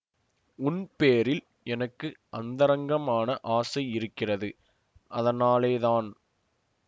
உன் பேரில் எனக்கு அந்தரங்கமான ஆசை இருக்கிறது அதனாலேதான்